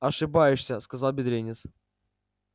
ошибаешься сказал бедренец